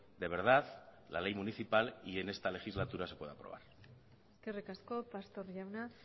de verdad la ley municipal y en esta legislatura se pueda aprobar eskerrik asko pastor jauna